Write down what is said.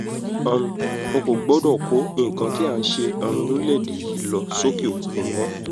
um wọn kò gbọdọ̀ kó nǹkan tí à ń ṣe um lórílẹ̀‐èdè yìí lọ sọ́kẹ́-òkun mọ́